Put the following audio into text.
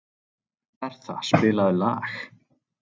Bertha, spilaðu lag.